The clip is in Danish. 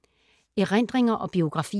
Erindringer og biografier